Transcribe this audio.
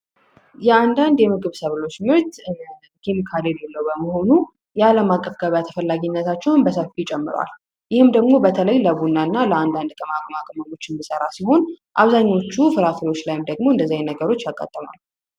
የአንዳንድ የምግብ ሰብሎች ምርት ኬሚካል የሌለው በመሆኑ የዓለም አቀፍ ተፈላጊነታቸውን በሰፊው ይጨምሯል። ይህም ደግሞ በተለይ ለቡናና ለአንዳንድ ቅመማ ቅመሞች የሚሰራ ሲሆን፤ አብዛኞቹ ፍራፍሬዎች ላይ ደግሞ እንደዚህ አይነት ነገሮች ያጋጥማሉ።